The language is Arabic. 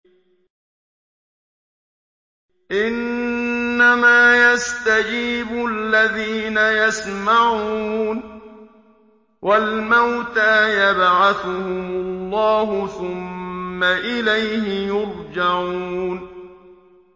۞ إِنَّمَا يَسْتَجِيبُ الَّذِينَ يَسْمَعُونَ ۘ وَالْمَوْتَىٰ يَبْعَثُهُمُ اللَّهُ ثُمَّ إِلَيْهِ يُرْجَعُونَ